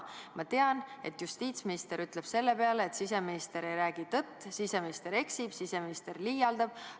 Ma tean, et justiitsminister ütleb selle peale, et siseminister ei räägi tõtt, siseminister eksib, siseminister liialdab.